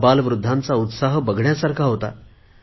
अबाल वृद्धांचा उत्साह बघण्यासारखा होता